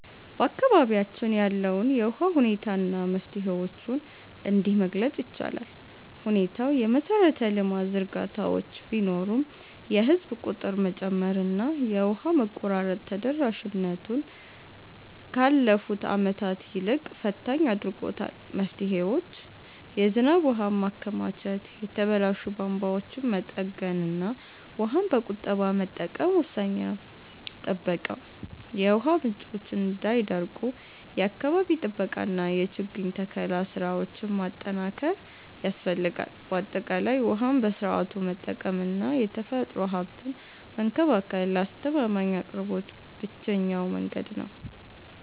በአካባቢያችን ያለውን የውሃ ሁኔታ እና መፍትሄዎቹን እንዲህ መግለፅ ይቻላል፦ ሁኔታው፦ የመሰረተ ልማት ዝርጋታዎች ቢኖሩም፣ የህዝብ ቁጥር መጨመርና የውሃ መቆራረጥ ተደራሽነቱን ካለፉት ዓመታት ይልቅ ፈታኝ አድርጎታል። መፍትሄዎች፦ የዝናብ ውሃን ማከማቸት፣ የተበላሹ ቧንቧዎችን መጠገንና ውሃን በቁጠባ መጠቀም ወሳኝ ናቸው። ጥበቃ፦ የውሃ ምንጮች እንዳይደርቁ የአካባቢ ጥበቃና የችግኝ ተከላ ስራዎችን ማጠናከር ያስፈልጋል። ባጠቃላይ፣ ውሃን በስርዓቱ መጠቀምና የተፈጥሮ ሀብትን መንከባከብ ለአስተማማኝ አቅርቦት ብቸኛው መንገድ ነው።